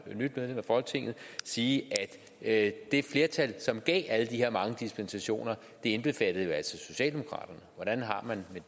nyt medlem af folketinget sige at det flertal som gav alle de her mange dispensationer indbefattede socialdemokraterne hvordan har man